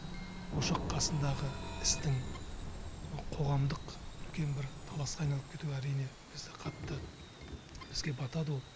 ошақ қасындағы істің мына қоғамдық үлкен бір таласқа айналып кетуі әрине бізді қатты бізге батады ол